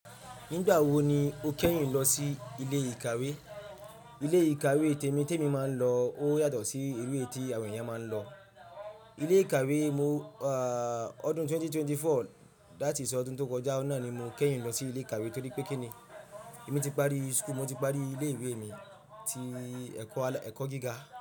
Nígbà wo ni o kẹ́yìn lọ sí ilé ìkàwé? Ilé ìkàwé tèmi tèmi má ń lọ ó yàtọ̀ sí iru eyi tí àwọn èèyàn máa ń lọ. Ilé ìkàwé mo, ọdún 2024 láti ọdún tó kọjá náà ni mo kẹ́yìn lọ sí ilé ìkàwé torí pé kí ni? Èmi ti parí school, mo ti parí ilé ìwé mi tí ẹ̀kọ́ alẹ́ ẹ̀kọ́ gíga.